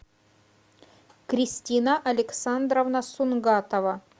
кристина александровна сунгатова